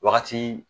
Wagati